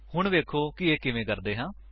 ਹੁਣ ਵੇਖੋ ਕਿ ਇਹ ਕਿਵੇਂ ਕਰਦੇ ਹਾਂ